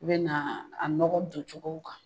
I bɛ na a nɔgɔ don cogow kan